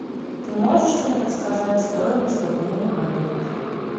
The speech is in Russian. ты можешь мне подсказать стоимость обмена валют